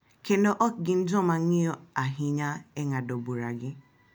Kendo ok gin joma ng’iyo ahinya e ng’ado buragi.